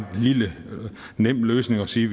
nem løsning at sige